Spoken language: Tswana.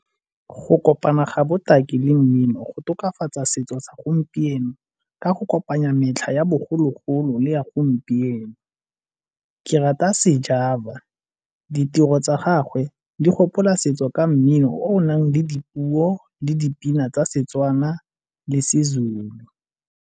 Go kopana ga botaki le mmino go tokafatsa setso segompieno ka go kopanya metlha ya bogologolo le ya gompieno. Ke rata a Sjava, ditiro tsa gagwe di gopola setso ka mmino o o nang le dipuo le dipina tsa Setswana le seZulu.